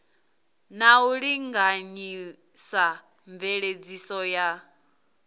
na u linganyisa mveledziso ya